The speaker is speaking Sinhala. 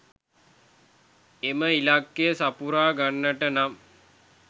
එම ඉලක්කය සපුරා ගන්නට නම්